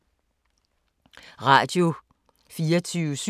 Radio24syv